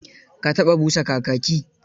Ka taɓa busa kakaki?